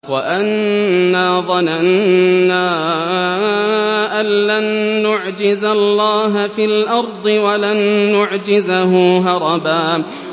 وَأَنَّا ظَنَنَّا أَن لَّن نُّعْجِزَ اللَّهَ فِي الْأَرْضِ وَلَن نُّعْجِزَهُ هَرَبًا